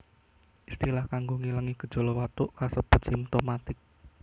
Istilah kanggo ngilangi gejala watuk kasebut simtomatik